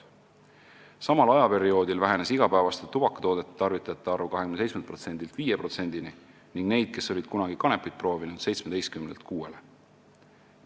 Samal ajaperioodil vähenes igapäevaste tubakatoodete tarvitajate arv 27%-lt 5%-ni ning nende hulk, kes olid kunagi kanepit proovinud, 17%-lt 6%-ni.